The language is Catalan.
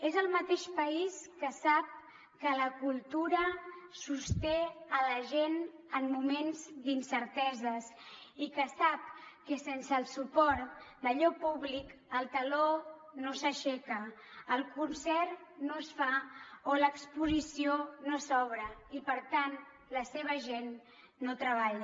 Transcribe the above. és el mateix país que sap que la cultura sosté la gent en moments d’incerteses i que sap que sense el suport d’allò públic el taló no s’aixeca el concert no es fa o l’exposició no s’obre i per tant la seva gent no treballa